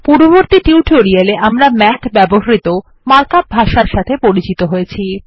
পূর্ববর্তী টিউটোরিয়ালে আমরা মাথ ব্যবহৃত মার্কআপ ভাষার সাথে পরিচিত হয়েছি